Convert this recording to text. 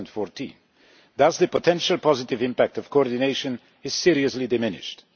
2014. Thus the potential positive impact of coordination is seriously diminished.